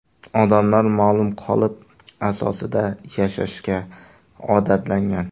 Odamlar ma’lum qolip asosida yashashga odatlangan.